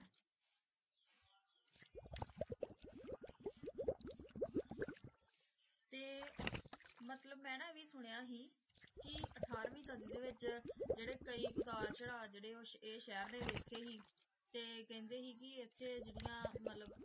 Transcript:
T ਮਤਲਬ ਮਨਾ ਆਯ ਵੇ ਸੁਨ੍ਯ ਸੇ ਕੀ ਅਥਾਰ ਵੇਨ ਸਾਡੀ ਡੀ ਵੇਚ ਜੇਰੀ ਕਈ ਉਤਰ ਚਢ਼ਾ ਸੇ ਗੀ ਓ ਜੇਰੀ ਸਹਰ ਡੀ ਵੇਖੀ ਸੇ ਟੀ ਕਾਂਡੀ ਸੇ ਗੀ ਟੀ ਕਾਂਡੀ ਸੇ ਮਤਲਬ